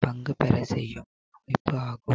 பங்கு பெற செய்யும் ஆகும்